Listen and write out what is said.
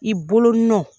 I bolonɔ